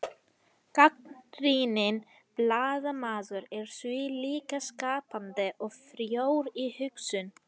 gagnrýninn blaðamaður er því líka skapandi og frjór í hugsun